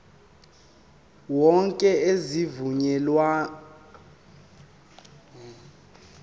wonke azivunyelwanga ukudotshwa